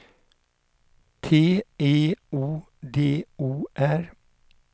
T E O D O R